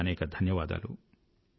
అనేకానేక ధన్యవాదాలు